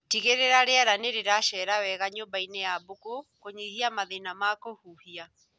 Tigĩrĩra riera nĩrĩracera wega nyũmbainĩ ya mbũkũ kũnyihia mathĩna ma kũhuhia